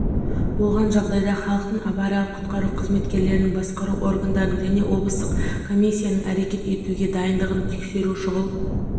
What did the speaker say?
болған жағдайда халықтың авариялық-құтқару қызметтерінің басқару органдарының және облыстық комиссиясының әрекет етуге дайындығын тексеру шұғыл